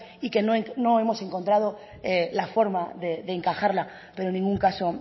y que no hemos encontrado la forma de encajarla pero en ningún caso